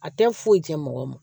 A tɛ foyi tiɲɛ mɔgɔ ma